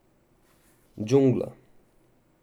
Džungla.